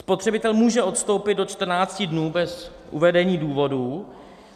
Spotřebitel může odstoupit do 14 dní bez uvedení důvodu.